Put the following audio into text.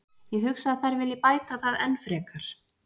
Ég hugsa að þær vilji bæta það enn frekar.